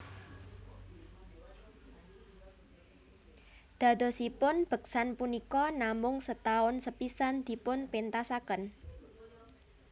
Dadosipun beksan punika namung setahun sepisan dipunpéntasaken